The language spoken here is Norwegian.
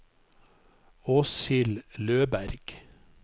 Åshild Løberg